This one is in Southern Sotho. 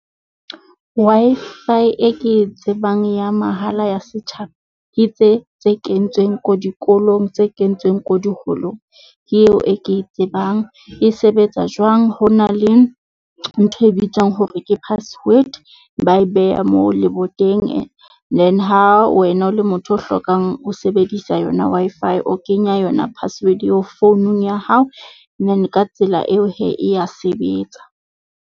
Wi-Fi e ke e tsebang ya mahala ya setjhaba ke tse tse kentsweng ko dikolong tse kentsweng ko diholong ke eo e ke tsebang e sebetsa jwang. Ho na le ntho e bitswang hore ke password ba e beha moo leboteng. Then ha wena o le motho o hlokang ho sebedisa yona, Wi-Fi o kenya yona password eo founung ya hao. And then ka tsela eo hee e ya sebetsa.